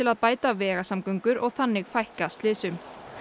að bæta vegasamgöngur og þannig fækka slysum